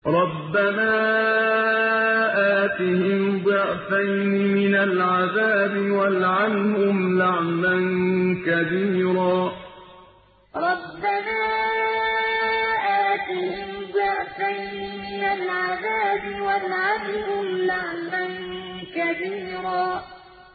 رَبَّنَا آتِهِمْ ضِعْفَيْنِ مِنَ الْعَذَابِ وَالْعَنْهُمْ لَعْنًا كَبِيرًا رَبَّنَا آتِهِمْ ضِعْفَيْنِ مِنَ الْعَذَابِ وَالْعَنْهُمْ لَعْنًا كَبِيرًا